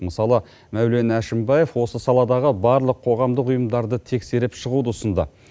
мысалы мәулен әшімбаев осы саладағы барлық қоғамдық ұйымдарды тексеріп шығуды ұсынды